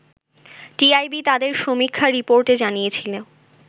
TIB তাদের সমীক্ষা রিপোর্টে জানিয়েছিল